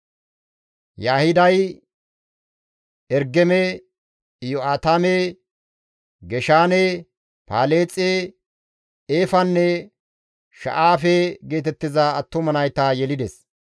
Yaahiday Ergeme, Iyo7aatame, Geshaane, Paleexe, Eefanne Sha7aafe geetettiza attuma nayta yelides.